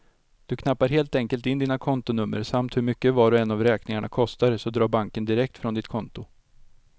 Du knappar helt enkelt in dina kontonummer samt hur mycket var och en av räkningarna kostar, så drar banken direkt från ditt konto.